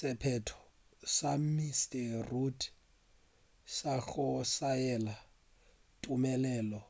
sephetho sa mr rudd sa go saena tumelelo